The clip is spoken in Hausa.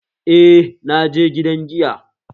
Eh, naje gidan giya